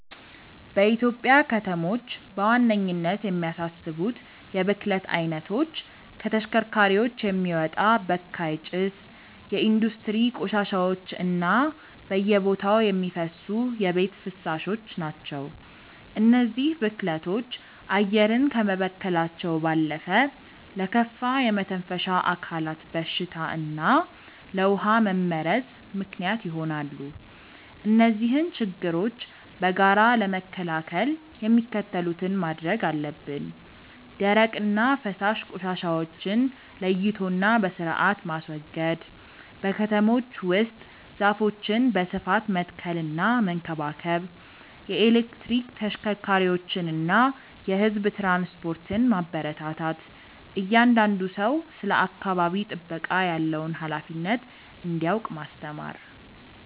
በኢትዮጵያ ከተሞች በዋነኝነት የሚያሳስቡት የብክለት አይነቶች ከተሽከርካሪዎች የሚወጣ በካይ ጭስ፣ የኢንዱስትሪ ቆሻሻዎች እና በየቦታው የሚፈሱ የቤት ፍሳሾች ናቸው። እነዚህ ብክለቶች አየርን ከመበከላቸው ባለፈ ለከፋ የመተንፈሻ አካላት በሽታ እና ለውሃ መመረዝ ምክንያት ይሆናሉ። እነዚህን ችግሮች በጋራ ለመከላከል የሚከተሉትን ማድረግ አለብን፦ ደረቅና ፈሳሽ ቆሻሻዎችን ለይቶና በስርአት ማስወገድ። በከተሞች ውስጥ ዛፎችን በስፋት መትከልና መንከባከብ። የኤሌክትሪክ ተሽከርካሪዎችንና የህዝብ ትራንስፖርትን ማበረታታት። እያንዳንዱ ሰው ስለ አካባቢ ጥበቃ ያለውን ሃላፊነት እንዲያውቅ ማስተማር።